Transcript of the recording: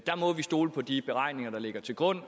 må vi stole på de beregninger der ligger til grund